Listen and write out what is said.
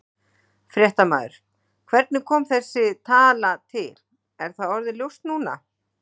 Fréttamaður: Hvernig kom þessi tala til, er það orðið ljóst núna?